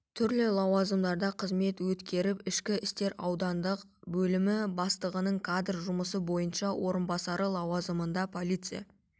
түрлі лауазымдарда қызмет өткеріп ішкі істер аудандық бөлімі бастығының кадр жұмысы бойынша орынбасары лауазымында полиция